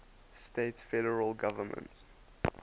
states federal government